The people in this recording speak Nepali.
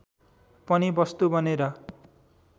पनि वस्तु बनेर